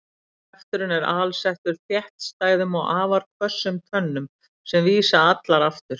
Kjafturinn er alsettur þéttstæðum og afar hvössum tönnum sem vísa allar aftur.